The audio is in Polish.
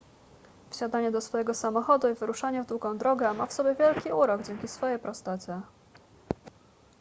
wsiadanie do swojego samochodu i wyruszanie w długą drogę ma w sobie wielki urok dzięki swej prostocie